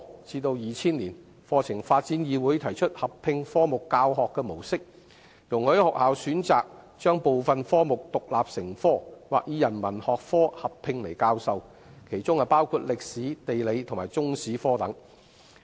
至2000年，課程發展議會提出合併科目的教學模式，容許學校選擇將部分科目獨立成科，或以人文學科合併來教授，其中包括歷史、地理和中史科等。